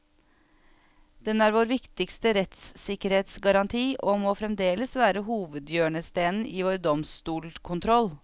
Den er vår viktigste rettssikkerhetsgaranti og må fremdeles være hovedhjørnestenen i vår domstolkontroll.